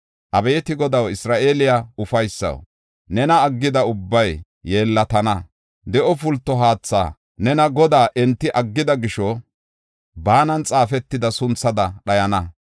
Abeeti Godaw, Isra7eele ufaysaw, nena aggida ubbay yeellatana. De7o pulto haatha, nena Godaa enti aggida gisho baanan xaafetida sunthada dhayana.